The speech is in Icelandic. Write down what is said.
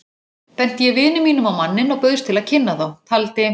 Benti ég vini mínum á manninn og bauðst til að kynna þá, taldi